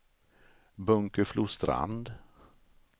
Bunkeflostrand